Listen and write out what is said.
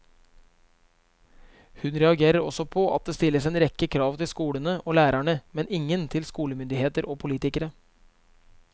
Hun reagerer også på at det stilles en rekke krav til skolene og lærerne, men ingen til skolemyndigheter og politikere.